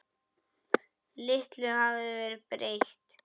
Litlu hafði verið breytt.